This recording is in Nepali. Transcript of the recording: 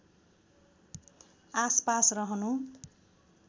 आसपास रहनु